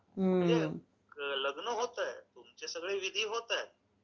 लग्न होतंय, तुमचे सगळे विधी होतायत.